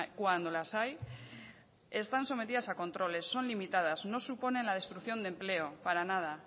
cuando las hay están sometidas a controles son limitadas no suponen la destrucción de empleo para nada